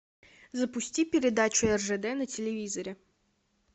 запусти передачу ржд на телевизоре